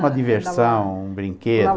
Uma diversão, um brinquedo.